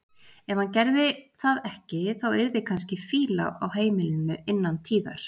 Ef hann gerði það ekki þá yrði kannski fýla á heimilinu innan tíðar.